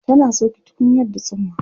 tana sauke tukunyar da tsumma